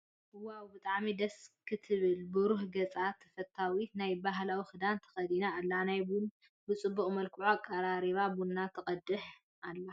ዋው ብጣዐም ደስ ክትብል ብሩህ ገፃን ተፈታውትን ናይ ብሃላዊ ክዳን ተከዲና ኣላ ናይ ቡና ብፅቡቅ መልክዑ ኣቀራሪባ ቡና ትቀድሕ ኣላ።